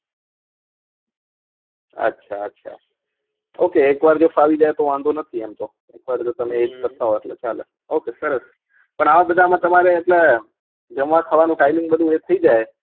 અચ્છા અચ્છાok એક વાર જો ફાવી જાય તો વાંધો નથી એમ તો પણ તમે જો એજ કરતા હોઈ તો ચાલે ok સરસ પણ આ બધા માં તમારે એટલે જમા ખાવાનું timeing બાધુ એક થઇ જય